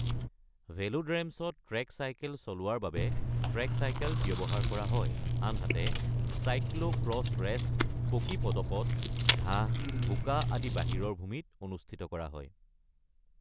ভেলোড্ৰমছত track cycle চলোৱাৰ বাবে track cycle ব্যৱহাৰ কৰা হয়, আনহাতে চাইক্লো-ক্ৰছ ৰেচ পকী পদপথ, ঘাঁহ, বোকা আদি বাহিৰৰ ভূমিত অনুষ্ঠিত কৰা হয়।